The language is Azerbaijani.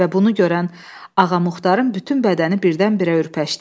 Və bunu görən Ağamuxatarın bütün bədəni birdən-birə ürpəşdi.